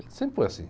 Ele sempre foi assim.